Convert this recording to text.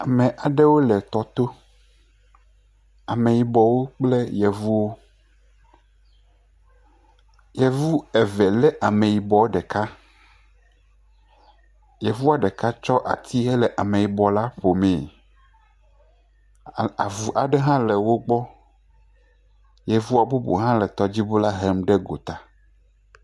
Ame aɖewo le tɔ to ameyibɔwo kple yevuwo, yevu eve lé ameyibɔ ɖeka, yevu ɖeka tsɔ ati le ameyibɔ la ƒomee, avu hã le wo gbɔ, yevu bubu le tɔdziŋu la hem gota.